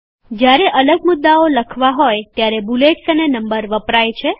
જ્યારે અલગ મુદ્દાઓ લખવા હોય ત્યારે બૂલેટ્સ અને નંબર વપરાય છે